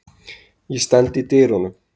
Ég stend í dyrunum.